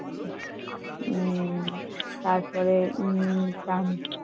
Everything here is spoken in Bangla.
উম তারপরে উম